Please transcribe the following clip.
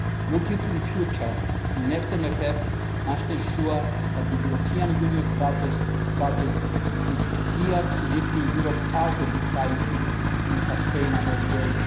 Looking to the future, the next MFF must ensure that the European Union's budget is geared to lifting Europe out of the crisis in a sustainable way.